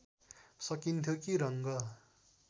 सकिन्थ्यो कि रङ्ग